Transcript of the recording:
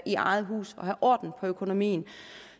i eget hus og have orden på økonomien